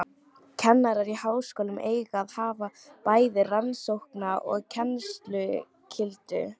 Kennarar í háskólum eiga að hafa bæði rannsókna- og kennsluskyldu.